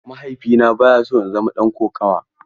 Mahaifina baya so in zama ɗan kokawa.